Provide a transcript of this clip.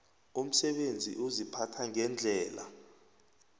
umsebenzi uziphatha ngendlela